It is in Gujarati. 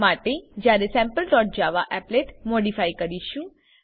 માટે જયારે sample dot Java applet modify કરીશું